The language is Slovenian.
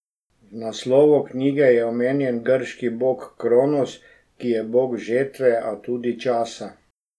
V naslovu knjige je omenjen grški bog Kronos, ki je bog žetve, a tudi časa.